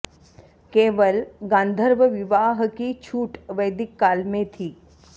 केवल गान्धर्व विवाह की छूट वैदिक काल में थी